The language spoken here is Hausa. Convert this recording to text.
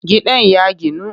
Gidan ya ginu